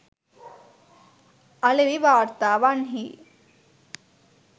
අලෙවි වාර්තාවන්හි